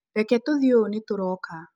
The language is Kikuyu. Reke tũthiĩ ũũ nĩtũroka.